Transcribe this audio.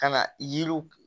Ka na yiriw